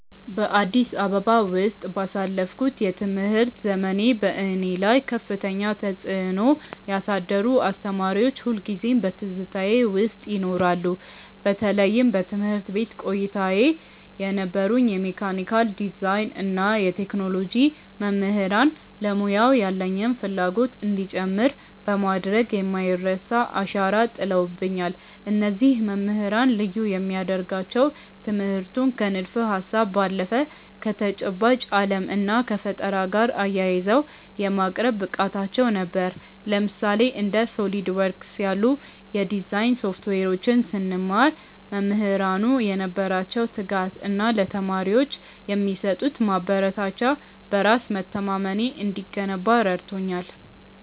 በአዲስ አበባ ውስጥ ባሳለፍኩት የትምህርት ዘመኔ፣ በእኔ ላይ ከፍተኛ ተጽዕኖ ያሳደሩ አስተማሪዎች ሁልጊዜም በትዝታዬ ውስጥ ይኖራሉ። በተለይም በትምህርት ቤት ቆይታዬ የነበሩኝ የመካኒካል ዲዛይን እና የቴክኖሎጂ መምህራን ለሙያው ያለኝን ፍላጎት እንዲጨምር በማድረግ የማይረሳ አሻራ ጥለውብኛል። እነዚህ መምህራን ልዩ የሚያደርጋቸው ትምህርቱን ከንድፈ-ሀሳብ ባለፈ ከተጨባጭ ዓለም እና ከፈጠራ ጋር አያይዘው የማቅረብ ብቃታቸው ነበር። ለምሳሌ፣ እንደ SOLIDWORKS ያሉ የዲዛይን ሶፍትዌሮችን ስንማር፣ መምህራኑ የነበራቸው ትጋት እና ለተማሪዎች የሚሰጡት ማበረታቻ በራስ መተማመኔ እንዲገነባ ረድቶኛል።